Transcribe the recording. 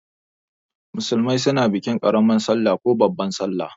Musulmai suna bikin karaman sallah ko babban sallah.